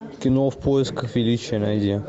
кино в поисках величия найди